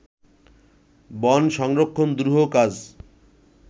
বন সংরক্ষণ দুরূহ কাজ